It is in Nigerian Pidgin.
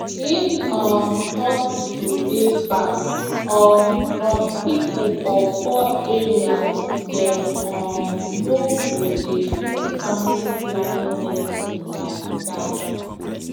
if um hospital dey far um from people for poor areas dem um no go dey use family planning medicine like that